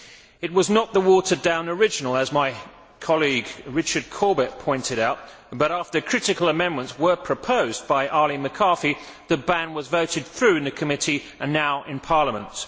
It was not the watered down original as my colleague, Richard Corbett pointed out but, after critical amendments were proposed by Arlene McCarthy, the ban was voted through in the committee and now in Parliament.